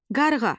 Qarğa.